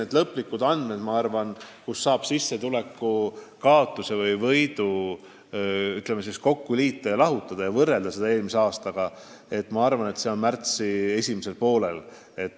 Aga lõplikud andmed, kui paljud sissetulekus võrreldes eelmise aastaga kaotavad või võidavad, me saame tuleval aastal märtsi esimesel poolel.